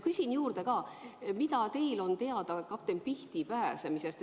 Küsin juurde ka, mida teil on teada kapten Pihti pääsemisest.